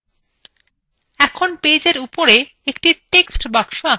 এখন পেজএর উপরে একটি textbox আঁকা যাক